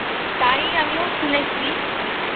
তাই আমিও শুনেছি